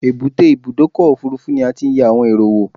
Èbúté Ibùdọ́kọ̀ òfurufú ni a ti n yẹ àwon èrò wo